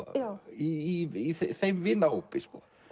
í þeim vinahópi